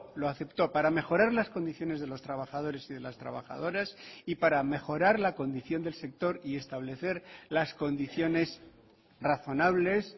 lo aceptó para mejorar las condiciones de los trabajadores y de las trabajadoras y para mejorar la condición del sector y establecer las condiciones razonables